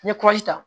N ye ta